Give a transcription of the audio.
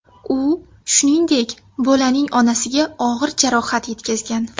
U, shuningdek, bolaning onasiga og‘ir jarohat yetkazgan.